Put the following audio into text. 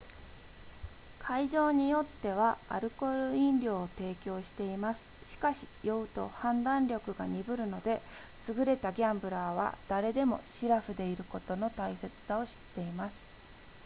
会場によってはアルコール飲料を提供していますしかし酔うと判断力が鈍るので優れたギャンブラーは誰でもしらふでいることの大切さを知っています